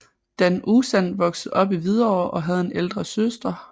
Dan Uzan voksede op i Hvidovre og havde en ældre søster